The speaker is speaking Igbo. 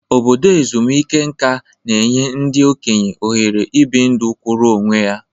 Obodo ezumike nka na-enye ndị okenye ohere ibi ndụ kwụụrụ onwe ya.